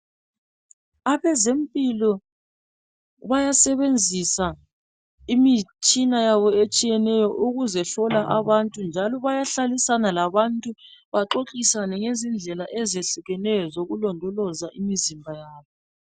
Abezempilo bayasebenzisa imitshina yabo etshiyeneyo ukuhlola abantu njalo bayahlala labantu baxoxisane ngendlela ezehlukeneyo zokulondoloza imizimba yabo.